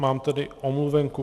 Mám tady omluvenku.